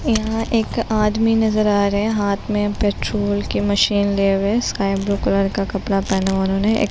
यहाँ एक आदमी नजर आ रहे हैं हाथ में पेट्रोल के मशीन लिए हुए स्काई ब्लू कलर का कपड़ा पहना हुआ उन्होंने एक --